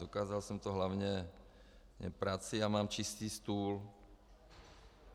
Dokázal jsem to hlavně prací a mám čistý stůl.